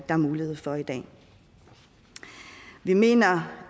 er mulighed for i dag vi mener